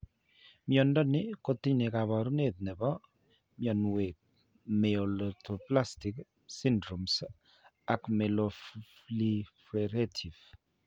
Mnyando ni ko tindo kaabarunet ne po mnyanwek myelodysplastic syndromes ak myeloproliferative.